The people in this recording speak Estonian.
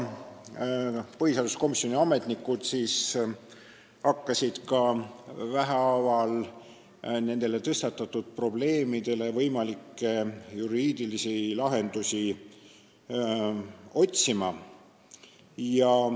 Põhiseaduskomisjoni ametnikud hakkasid vähehaaval tõstatatud probleemidele juriidilisi lahendusi otsima.